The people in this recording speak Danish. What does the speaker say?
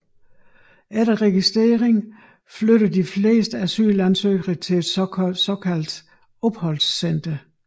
Efter registrering flytter de fleste asylansøgerne til et såkaldt opholdscenter